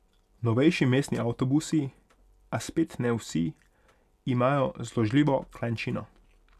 Novejši mestni avtobusi, a spet ne vsi, imajo zložljivo klančino.